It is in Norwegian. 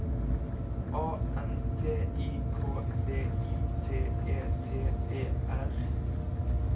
A N T I K V I T E T E R